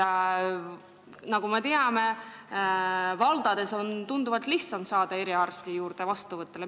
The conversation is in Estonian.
Nagu me teame, on valdades tunduvalt lihtsam eriarsti vastuvõtule saada.